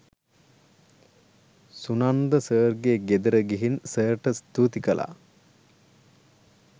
සුනන්ද සර්ගේ ගෙදර ගිහින් සර්ට ස්තූති කළා.